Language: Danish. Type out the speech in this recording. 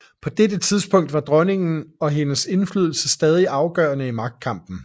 På dette tidspunkt var dronningen og hendes indflydelse stadig afgørende i magtkampen